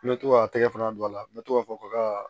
N bɛ to k'a tɛgɛ fana don a la n bɛ to k'a fɔ ko ka